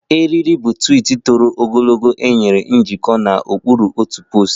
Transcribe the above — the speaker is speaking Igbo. Eriri bu twiit ogologo nwere njikọ n'okpuru otu poostu